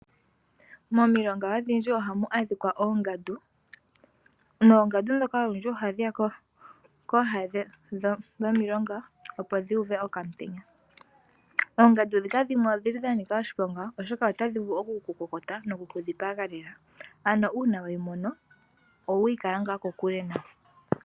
Momilonga odhindji oha mu adhikwa oongandu Noongandu dhika olundji ohadhi ya kooha dhomiilonga opo dhu uve okaantenya. Oongandu dhika dhimwe odhili dha nika oshiponga, oshoka dhimwe otadhi vulu oku kokota noku ku dhipaga lela. Ano una weyi mono owuyi kala ngaa kokule nayo.